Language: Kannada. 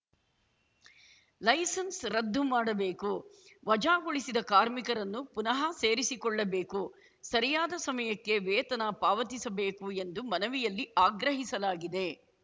ಲೈಸೆನ್ಸ್ ರದ್ದು ಮಾಡಬೇಕು ವಜಾಗೊಳಿಸಿದ ಕಾರ್ಮಿಕರನ್ನು ಪುನಃ ಸೇರಿಸಿಕೊಳ್ಳಬೇಕು ಸರಿಯಾದ ಸಮಯಕ್ಕೆ ವೇತನ ಪಾವತಿಸಬೇಕು ಎಂದು ಮನವಿಯಲ್ಲಿ ಆಗ್ರಹಿಸಲಾಗಿದೆ